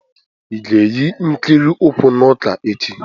Ị ga-eyi ikiri ụkwụ n'ụka echi?